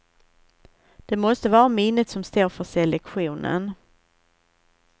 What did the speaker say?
Det måste vara minnet som står för selektionen.